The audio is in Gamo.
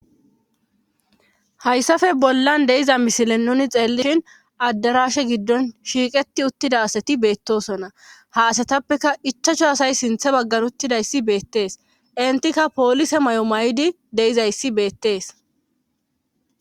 Hayssafe bollan deiza misile nuni xeellishin addarashe giddon shiiqeti uttida asati beettosona ha asatappeka ichacho asay sinthe baggan uttidayssi beettees intikka poolise may'o may'idi deizayssi beettees.